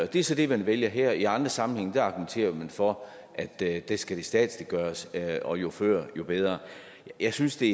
det er så det man vælger her i andre sammenhænge argumenterer for at det det skal statsliggøres og jo før jo bedre jeg synes det